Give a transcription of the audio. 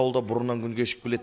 ауылда бұрыннан күн кешіп келеді